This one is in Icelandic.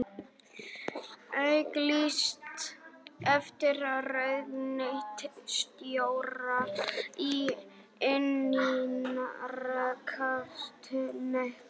Auglýst eftir ráðuneytisstjóra í innanríkisráðuneyti